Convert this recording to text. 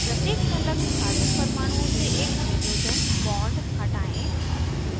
प्रत्येक संलग्न carbon परमाणुओं से एक hydrogen bond हटायें